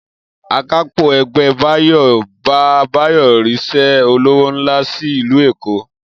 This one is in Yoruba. Akápò̩ e̩gbé̩ Báyò bá Báyò̩ rís̩é̩ olówó ńlá sí ìlú Èkó